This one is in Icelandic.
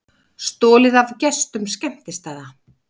Stolið af gestum skemmtistaða